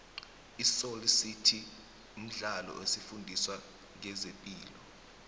isoly city mdlalo osifundisa nqezepilo